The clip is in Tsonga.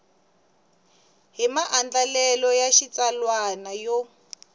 hi maandlalelo ya xitsalwana yo